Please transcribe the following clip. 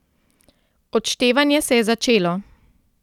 Odštevanje se je začelo ...